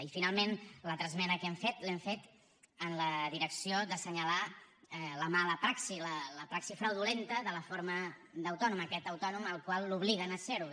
i finalment l’altra esmena que hem fet l’hem fet en la direcció d’assenyalar la mala praxi la praxi fraudulenta de la forma d’autònom aquest autònom que l’obliguen a serho